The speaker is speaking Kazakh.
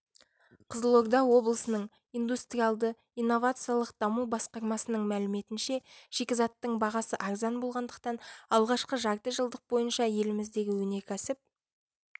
қызылорда облысының индустриялды-инновациялық даму басқармасының мәліметінше шикізаттың бағасы арзан болғандықтан алғашқы жарты жылдық бойынша еліміздегі өнеркәсіп